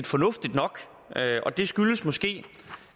fornuftige nok det skyldes måske